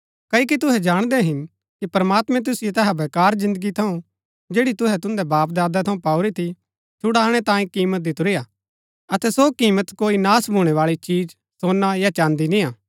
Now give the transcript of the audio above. क्ओकि तुहै जाणदै हिन कि प्रमात्मैं तुसिओ तैहा वेकार जिन्दगी थऊँ जैड़ी तुहै तुन्दै बापदादे थऊँ पाऊरी थी छुड़ानै तांये किमत दितुरी हा अतै सो किमत कोई नाश भूणैबाळी चिज सोना या चाँदी निय्आ